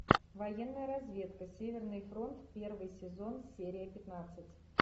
военная разведка северный фронт первый сезон серия пятнадцать